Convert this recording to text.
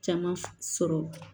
Caman sɔrɔ